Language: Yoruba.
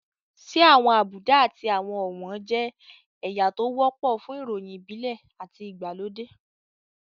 Ṣé àwọn àbùdá àti àwọn ọ̀wọ̀n jẹ́ ẹ̀yà tó wọ́pọ̀ fún ìròyìn ìbílẹ̀ àti ìgbàlódé?